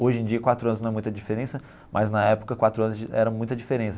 Hoje em dia, quatro anos não é muita diferença, mas na época, quatro anos era muita diferença.